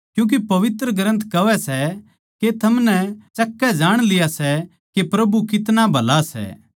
क्यूँके पवित्र ग्रन्थ कहवै सै के थमनै चख कै जाण लिया सै के प्रभु कितना भला सै